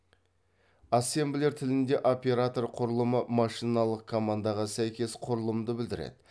ассемблер тілінде оператор құрылымы машиналық командаға сәйкес құрылымды білдіреді